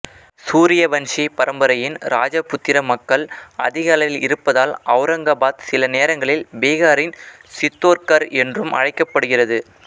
சூரியவண்ஷி பரம்பரையின் ராஜபுத்திர மக்கள் அதிக அளவில் இருப்பதால் அவுரங்காபாத் சில நேரங்களில் பீகாரின் சித்தோர்கர் என்றும் அழைக்கப்படுகிறது